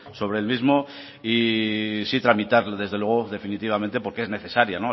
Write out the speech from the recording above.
sobre el mismo y sí tramitar desde luego definitivamente porque es necesaria